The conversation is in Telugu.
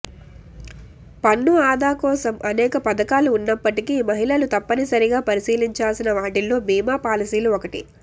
పన్ను ఆదాకోసం అనేక పథకాలు ఉన్నప్పటికీ మహిళలు తప్పనసరిగా పరిశీలించాల్సిన వాటిల్లో బీమా పాలసీలు ఒకటి